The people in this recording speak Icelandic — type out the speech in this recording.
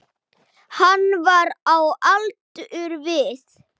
Hann var á aldur við